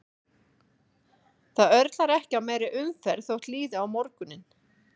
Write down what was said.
Það örlar ekki á meiri umferð þótt líði á morguninn.